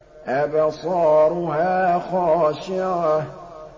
أَبْصَارُهَا خَاشِعَةٌ